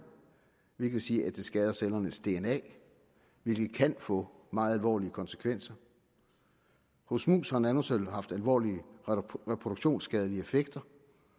hvilket vil sige at det skader cellernes dna hvilket kan få meget alvorlige konsekvenser hos mus har nanosølv haft alvorlige reproduktionsskadelige effekter